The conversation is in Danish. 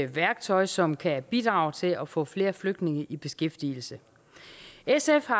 værktøj som kan bidrage til at få flere flygtninge i beskæftigelse sf har